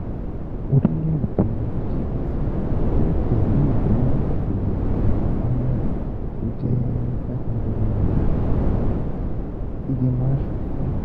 Orílẹ̀-èdè Íjíbítì yóò tẹ̀lé ìwé ìdìbò um Samurai tó jẹ́ five hundred million dollar Ìgbìmọ̀ Aṣòfin